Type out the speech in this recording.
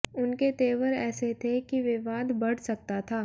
उनके तेवर ऐसे थे कि विवाद बढ सकता था